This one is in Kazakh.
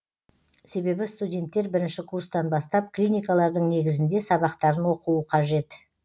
себебі студенттер бірінші курстан бастап клиникалардың негізінде сабақтарын оқуы қажет